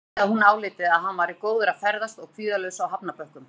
Hann vildi að hún áliti að hann væri góður að ferðast og kvíðalaus á hafnarbökkum.